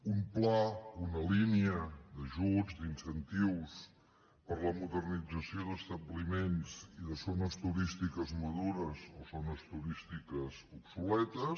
un pla una línia d’ajuts d’incentius per a la modernització d’establiments i de zones turístiques madures o zones turístiques obsoletes